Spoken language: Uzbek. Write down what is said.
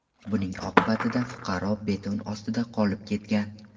Buning oqibatida fuqaro beton ostida qolib ketgan.